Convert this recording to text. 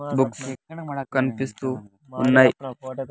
Books కనిపిస్తూ ఉన్నాయి.